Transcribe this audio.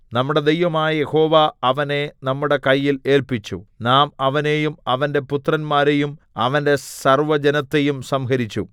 നമ്മുടെ ദൈവമായ യഹോവ അവനെ നമ്മുടെ കയ്യിൽ ഏല്പിച്ചു നാം അവനെയും അവന്റെ പുത്രന്മാരെയും അവന്റെ സർവ്വജനത്തെയും സംഹരിച്ചു